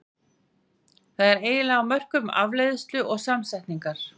Það er eiginlega á mörkum afleiðslu og samsetningar.